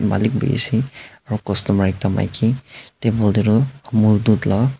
malik bhi ase aru customer ekta maiki table te tu amol dut laga.